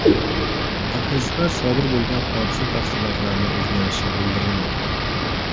Mutaxassislar sodir bo‘lgan hodisa tafsilotlarini o‘rganishi bildirilmoqda.